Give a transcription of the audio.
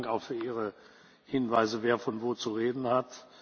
Vielen Dank auch für Ihre Hinweise, wer von wo zu reden hat.